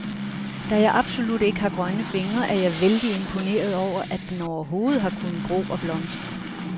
Da jeg absolut ikke har grønne fingre, er jeg vældig imponeret over, at den overhovedet har kunnet gro og blomstre.